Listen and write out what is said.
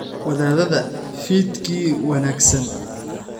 Wadaadada fiidkii wanaagsan?